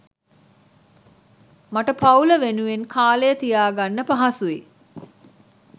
මට පවුල වෙනුවෙන් කාලය තියාගන්න පහසුයි.